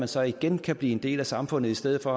så igen kan blive en del af samfundet i stedet for